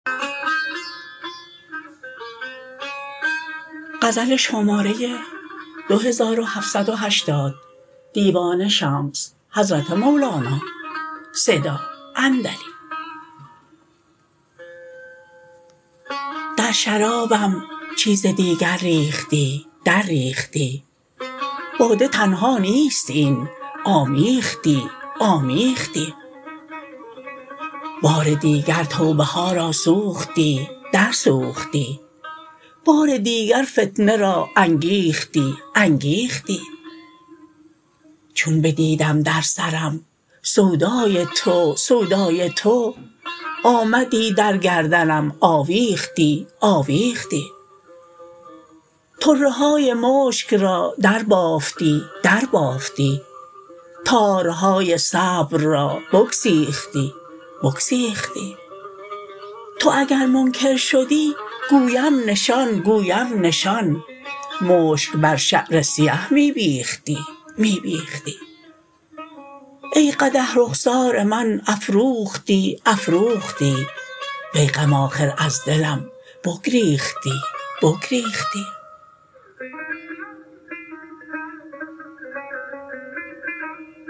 در شرابم چیز دیگر ریختی درریختی باده تنها نیست این آمیختی آمیختی بار دیگر توبه ها را سوختی درسوختی بار دیگر فتنه را انگیختی انگیختی چون بدیدم در سرم سودای تو سودای تو آمدی در گردنم آویختی آویختی طره های مشک را دربافتی دربافتی تارهای صبر را بگسیختی بگسیختی تو اگر منکر شدی گویم نشان گویم نشان مشک بر شعر سیه می بیختی می بیختی ای قدح رخسار من افروختی افروختی وی غم آخر از دلم بگریختی بگریختی